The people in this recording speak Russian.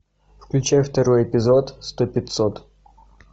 включай второй эпизод сто пятьсот